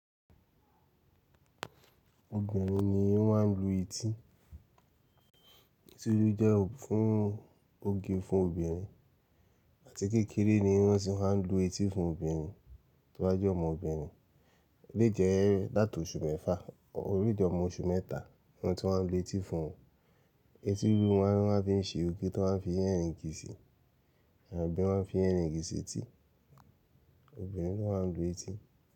Obìnrin ni wọ́n máa ń lu etí. Etí nílú jẹ́ fún oge fún obìnrin àti kékeré ni wọ́n sì máa ń lu etí fún obìnrin. Tí wọ́n bá jẹ́ ọmọbìnrin lè jẹ́ látọ̀ọ́ oṣù mẹ́fà orí ìdí ọmọ oṣù mẹ́ta ni wọ́n ti máa ń lu etí fún wọn. Etí rírú ni wọ́n fi ń se òkè tí wọ́n fi ń yẹ̀rìǹgi sí, àbí wọ́n fi ń yẹ̀rìǹgi sí etí obìnrin tó máa ń lu etí.